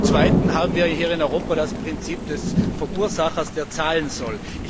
Zum Zweiten haben wir hier in Europa das Prinzip des Verursachers, der zahlen soll.